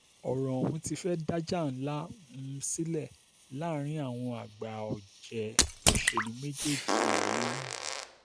ọ̀rọ̀ ọ̀hún ti fẹ́ẹ̀ dájà ńlá um sílẹ̀ láàrin àwọn àgbà ọ̀jẹ̀ òṣèlú méjèèjì yìí